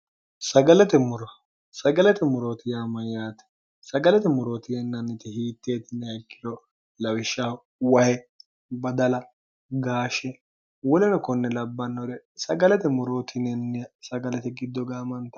sagalate morooti yaamayyaate sagalate morootinennanniti hiitteetinayikkiro lawishshahu waye badala gaashshe wolino konni labbannore sagalate morootinenni sagalete giddo gaamanta